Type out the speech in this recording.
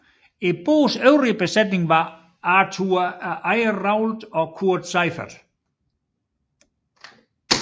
Bådens øvrige besætning var Arthur Ayrault og Kurt Seiffert